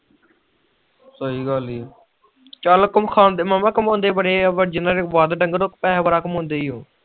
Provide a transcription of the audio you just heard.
ਸਹੀ ਗੱਲ ਏ